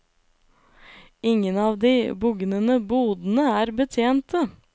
Ingen av de bugnende bodene er betjente.